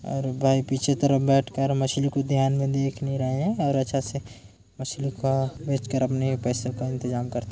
और बाएं पिछे तरफ बैठ कर मछली को ध्यान में देख भी रहे है और अच्छा से मछली का बेच कर अपने पैसे का इंतजाम करते--